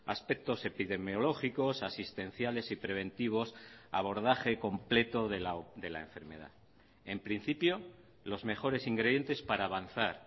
aspectos epidemiológicos asistenciales y preventivos abordaje completo de la enfermedad en principio los mejores ingredientes para avanzar